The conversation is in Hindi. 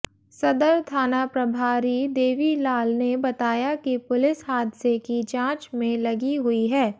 सदर थाना प्रभारी देवीलाल ने बताया कि पुलिस हादसे की जांच में लगी हुई है